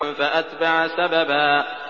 فَأَتْبَعَ سَبَبًا